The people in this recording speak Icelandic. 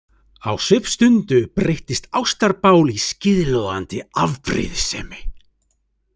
Á svipstundu breytist ástarbál í skíðlogandi afbrýðisemi.